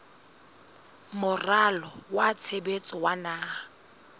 moralo wa tshebetso wa naha